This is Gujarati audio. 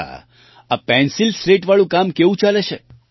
અચ્છા આ પેન્સિલ સ્લેટવાળું કામ કેવું ચાલે છે